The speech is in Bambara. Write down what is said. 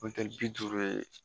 bi duuru ye